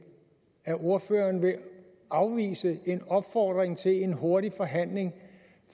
er ordføreren vil afvise en opfordring til en hurtig forhandling